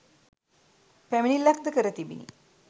පැමිණිල්ලක්‌ද කර තිබිණි.